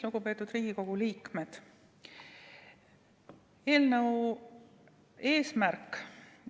Lugupeetud Riigikogu liikmed!